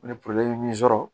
Ni min sɔrɔ